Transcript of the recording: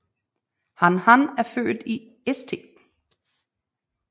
Han Han er født i St